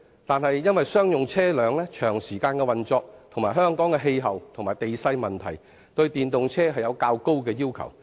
但是，由於商用車輛運作時間長及香港的氣候和地勢問題所限，對電動商用車有較高的要求。